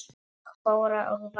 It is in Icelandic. Og Þóra og Vala?